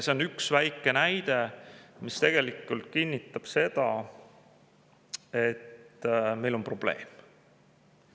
See on üks väike näide, mis kinnitab seda, et meil on probleem.